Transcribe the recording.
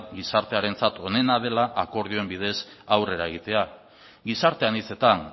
gizartearentzat onena dela akordioen bidez aurrera egitea gizarte anitzetan